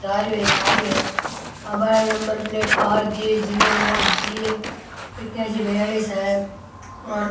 जा रो है एक आ रो है यहां एक number plate R J zero नो जी ए इकतालीस बयालीस है और --